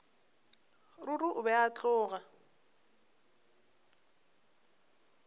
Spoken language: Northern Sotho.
ruri o be a tloga